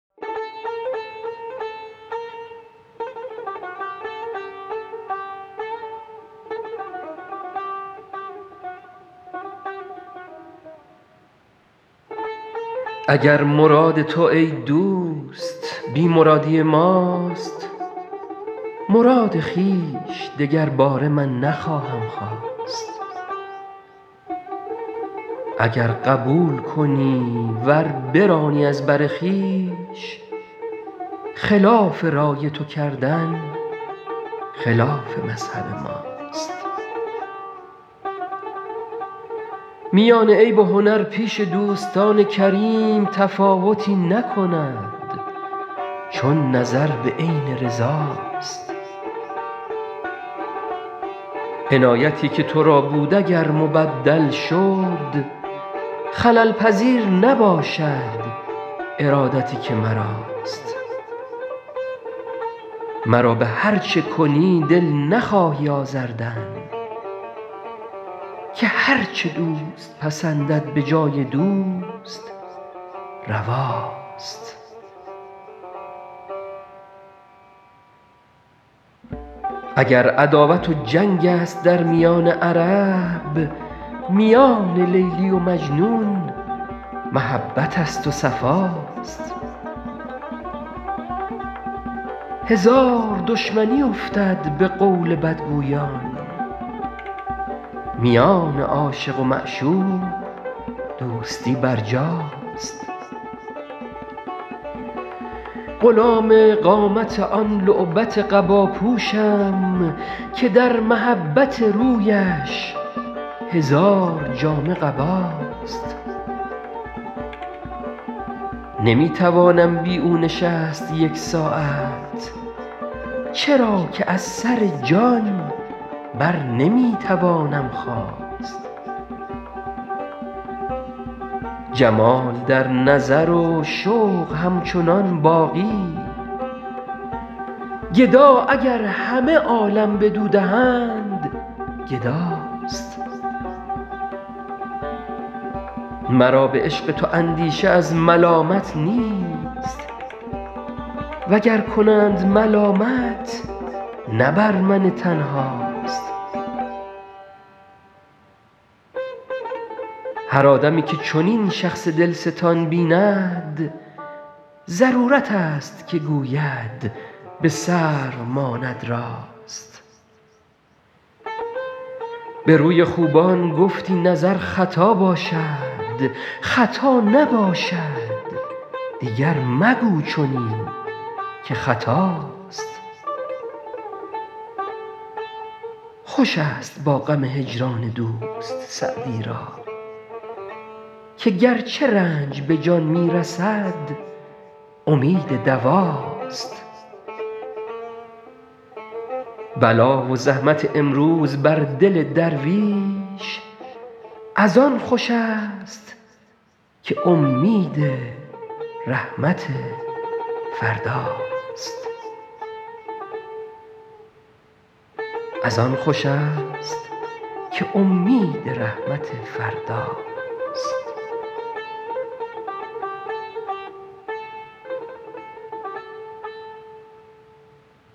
اگر مراد تو ای دوست بی مرادی ماست مراد خویش دگرباره من نخواهم خواست اگر قبول کنی ور برانی از بر خویش خلاف رای تو کردن خلاف مذهب ماست میان عیب و هنر پیش دوستان کریم تفاوتی نکند چون نظر به عین رضا ست عنایتی که تو را بود اگر مبدل شد خلل پذیر نباشد ارادتی که مراست مرا به هر چه کنی دل نخواهی آزردن که هر چه دوست پسندد به جای دوست روا ست اگر عداوت و جنگ است در میان عرب میان لیلی و مجنون محبت است و صفا ست هزار دشمنی افتد به قول بدگویان میان عاشق و معشوق دوستی برجاست غلام قامت آن لعبت قبا پوشم که در محبت رویش هزار جامه قباست نمی توانم بی او نشست یک ساعت چرا که از سر جان بر نمی توانم خاست جمال در نظر و شوق همچنان باقی گدا اگر همه عالم بدو دهند گدا ست مرا به عشق تو اندیشه از ملامت نیست و گر کنند ملامت نه بر من تنها ست هر آدمی که چنین شخص دل ستان بیند ضرورت است که گوید به سرو ماند راست به روی خوبان گفتی نظر خطا باشد خطا نباشد دیگر مگو چنین که خطاست خوش است با غم هجران دوست سعدی را که گرچه رنج به جان می رسد امید دوا ست بلا و زحمت امروز بر دل درویش از آن خوش است که امید رحمت فردا ست